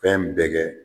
Fɛn bɛɛ kɛ